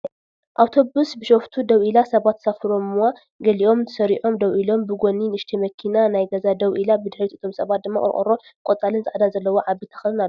ኣብቶብስ ቢሾፍቱ ደዉ ኢላ ሰባት ተሳፊሮምዋ ገሊኦም ተሰሪዖም ደው ኢሎም ብጊኑ ንእሽተይ ማኪና ናይ ገዛ ደው ኢላ ብድሕሪ እቶም ሰባት ድማ ቆርቆሮ ቆፃልን ፃዕዳንዘለዎ ዓብይ ተክልን ኣሎ።